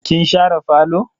Kin share falo?